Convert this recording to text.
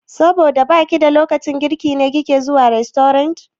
Saboda baki da lokacin girki ne kike zuwa rastorant?